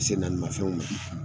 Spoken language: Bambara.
Sen naani mafɛnw ma